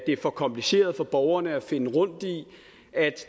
er for kompliceret for borgerne at finde rundt i at